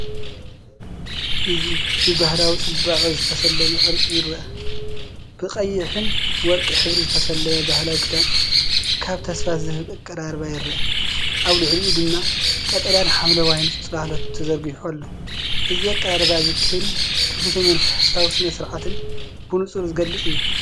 እዚ ብባህላዊ ጽባቐ ዝተሰለመ ቅርጺ ይረአ። ብቀይሕን ወርቅን ሕብሪ ዝተሰለመ ባህላዊ ክዳን ኣብ ተስፋ ዝህብ ኣቀራርባ ይረአ። ኣብ ልዕሊኡ ድማ ቀጠልያን ሐምላይን ጽላሎት ተዘርጊሑ ኣሎ። እዚ ኣቀራርባ እዚ ክብሪ ትውፊትን መንፈሳዊ ስነ-ስርዓትን ብንጹር ዝገልጽ እዩ።